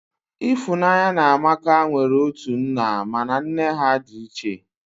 Ịfụnanya na Amaka nwere otu nna mana nne ha dị iche